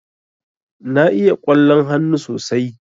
Na iya ƙwallon hannu sosai.